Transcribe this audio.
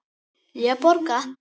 Ég borga!